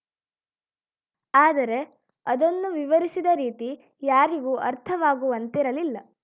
ಆದರೆ ಅದನ್ನು ವಿವರಿಸಿದ ರೀತಿ ಯಾರಿಗೂ ಅರ್ಥವಾಗುವಂತಿರಲಿಲ್ಲ